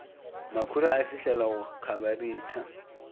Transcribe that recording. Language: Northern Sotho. makhura a fihlela go khabareitha